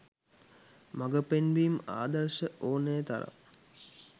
මගපෙන්වීම් ආදර්ශ ඕනේ තරම්